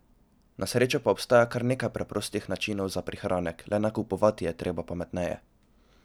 Na srečo pa obstaja kar nekaj preprostih načinov za prihranek, le nakupovati je treba pametneje!